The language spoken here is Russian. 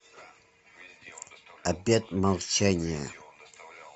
обет молчания